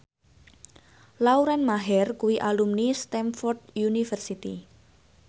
Lauren Maher kuwi alumni Stamford University